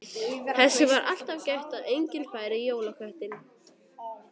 Þess var alltaf gætt að enginn færi í jólaköttinn.